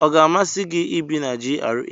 Ọ ga-amasị gị ibi na GRA?